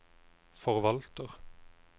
forvalter